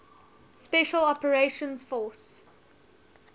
special operations force